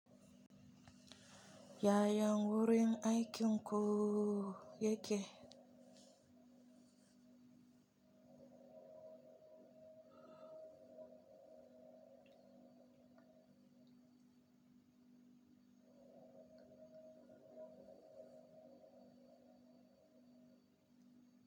Yaya gurin aikin ku yake?